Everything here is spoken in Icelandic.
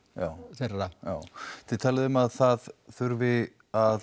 þeirra já þið talið um að það þurfi að